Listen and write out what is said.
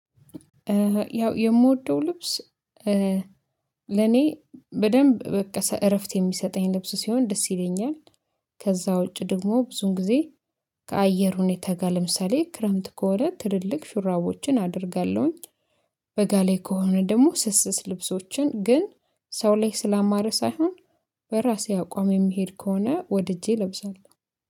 ያው የምወደው ልብስ ለኔ በደንብ በቃ እረፍት የሚሰጠኝ ልብስ ሲሆን ደስ ይለኛል። ከዛ ውጪ ደግሞ ብዙን ጊዜ ከአየር ሁኔታ ጋር ለምሳሌ ክረምት ከሆነ ትልልቅ ሹራቦችን አደርጋለሁኝ። በጋ ላይ ከሆነ ደግሞ ስስ ስስ ልብሶችን ግን ሰው ላይ ስላማረ ሳይሆን በራሴ አቋም የሚሄድ ከሆነ ወድጄ እለብሳለሁ